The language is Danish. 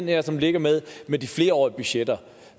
her som ligger med med de flerårige budgetter